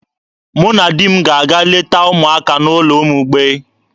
Mụ na di m ga-aga leta ụmụaka n'ụlọ ụmụ mgbei.